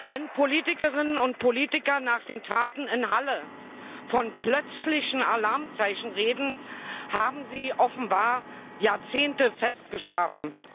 Wenn Politikerinnen und Politiker nach den Taten in Halle von plötzlichen Alarmzeichen reden, haben sie offenbar Jahrzehnte fest geschlafen.